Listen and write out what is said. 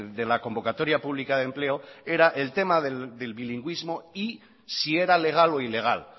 de la convocatoria pública de empleo era el tema del bilingüismo y si era legal o ilegal